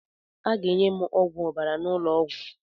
Aga enye m ọgwụ ọbara n'ụlọ ọgwụ.